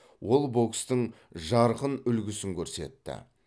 ол бокстың жарқын үлгісін көрсетті